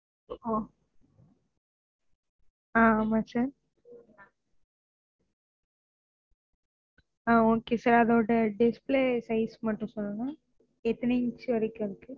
ஹான் ஆமா sir அஹ் okay sir அதோட display size மட்டும் சொல்லுங்க? எத்தனை inch வரைக்கும் இருக்கும்?